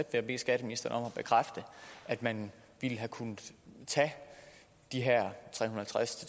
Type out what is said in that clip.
jeg bede skatteministeren om at bekræfte at man ville have kunnet tage de her